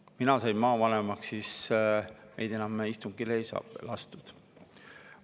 Kui mina sain maavanemaks, siis meid enam istungile ei lastud.